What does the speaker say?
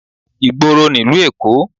Ìgboro nílùú Èkó